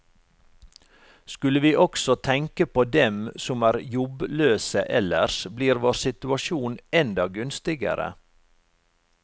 Skulle vi også tenke på dem som er jobbløse ellers, blir vår situasjon enda gunstigere.